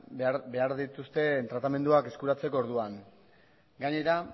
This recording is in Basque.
behar dituzten tratamenduak eskuratzeko orduan gainera